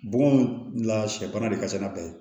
Bɔgɔ mun la sɛ bana de ka se n'a bɛɛ ye